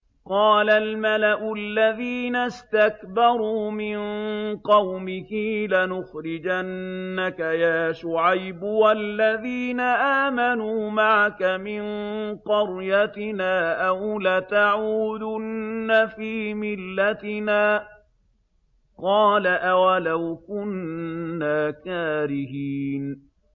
۞ قَالَ الْمَلَأُ الَّذِينَ اسْتَكْبَرُوا مِن قَوْمِهِ لَنُخْرِجَنَّكَ يَا شُعَيْبُ وَالَّذِينَ آمَنُوا مَعَكَ مِن قَرْيَتِنَا أَوْ لَتَعُودُنَّ فِي مِلَّتِنَا ۚ قَالَ أَوَلَوْ كُنَّا كَارِهِينَ